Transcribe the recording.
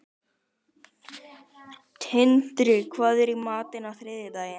Tindri, hvað er í matinn á þriðjudaginn?